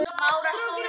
Jurtir og smádýr.